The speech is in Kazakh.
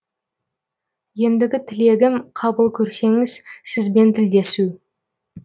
ендігі тілегім қабыл көрсеңіз сізбен тілдесу